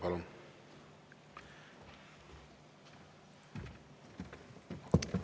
Palun!